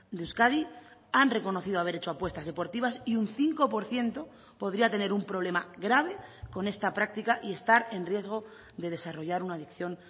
de euskadi han reconocido haber hecho apuestas deportivas y un cinco por ciento podría tener un problema grave con esta práctica y estar en riesgo de desarrollar una adicción